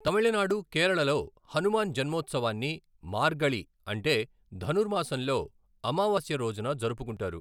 తమిళనాడు, కేరళలో హనుమాన్ జన్మోత్సవాన్ని మార్గళి అంటే ధనుర్ మాసంలో అమావాస్య రోజున జరుపుకుంటారు.